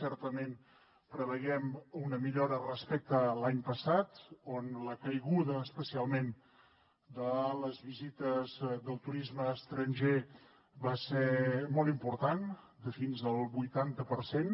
certament preveiem una millora respecte a l’any passat on la caiguda especialment de les visites del turisme estranger va ser molt important de fins al vuitanta per cent